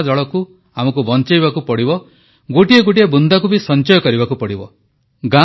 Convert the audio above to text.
ବର୍ଷାଜଳକୁ ଆମକୁ ବଂଚେଇବାକୁ ପଡ଼ିବ ଗୋଟିଏ ଗୋଟିଏ ବୁନ୍ଦାକୁ ବି ସଂଚୟ କରିବାକୁ ପଡ଼ିବ